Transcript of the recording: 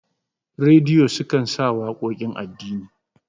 rediyo sukan sa waƙoƙin addini